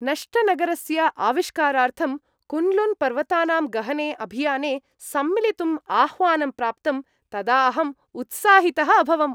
नष्टनगरस्य आविष्कारार्थं कुन्लुन्पर्वतानां गहने अभियाने सम्मिलितुं आह्वानं प्राप्तम्, तदा अहं उत्साहितः अभवम् ।